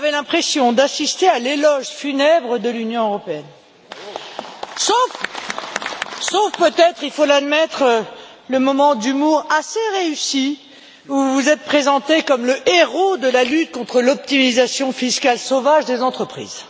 On avait l'impression d'assister à l'éloge funèbre de l'Union européenne. Sauf peut être, il faut l'admettre, le moment d'humour assez réussi où vous vous êtes présenté comme le héros de la lutte contre l'optimisation fiscale sauvage des entreprises.